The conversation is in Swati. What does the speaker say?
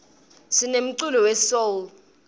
sinemculo we soul